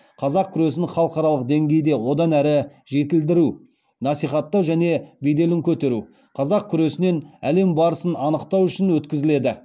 қазақ күресін халықаралық деңгейде одан әрі жетілдіру насихаттау және беделін көтеру қазақ күресінен әлем барысын анықтау үшін өткізіледі